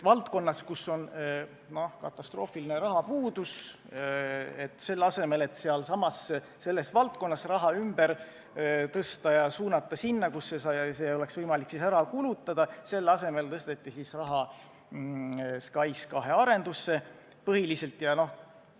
Valdkonnas, kus on katastroofiline rahapuudus, selle asemel et sealsamas raha ümber tõsta ja suunata sinna, kus see oleks võimalik ära kulutada, tõsteti raha põhiliselt SKAIS2 arendusse.